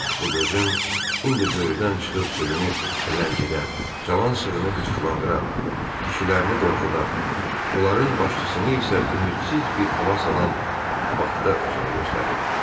Bu döyüşüm indi böyrüdən çıxıb sürünü ləngidən, cavan sığını qıcıqlandıran, dişilərini qorxudan, onların başçısını isə ümidsiz bir hala salan Bakda özünü göstərirdi.